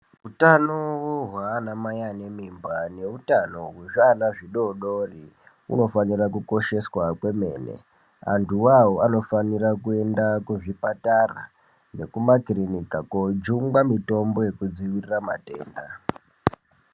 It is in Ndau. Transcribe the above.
Utano hwanamai ane mimba neutano hwezviana zvidori dori hunofanira kukosheswa kwemene. Antu ivavo anofanira kuenda kuzvipatara nekumakirinika kojungwa mitombo yekudzivirira matenda.